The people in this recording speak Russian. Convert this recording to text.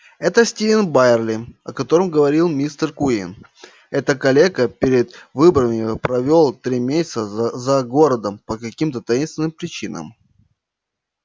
этот стивен байерли о котором говорил мистер куинн этот калека перед выборами провёл три месяца за городом по каким-то таинственным причинам